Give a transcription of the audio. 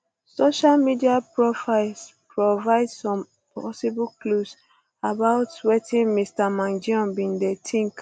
social media profiles provide some possible clues about wetin mr mangione bin dey think